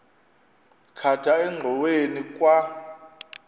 khatha engxoweni kwa